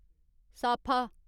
साफा